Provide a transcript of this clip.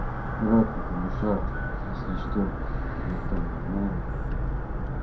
брат это душа если что никто не знает